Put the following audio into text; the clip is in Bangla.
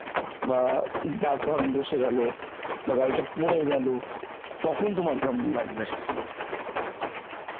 বা দাগ ফাগ বসে গেল বা গাড়িটা পরে গেল তখন তোমার কেমন লাগবে?